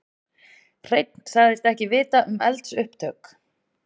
Hreinn sagðist ekki vita um eldsupptök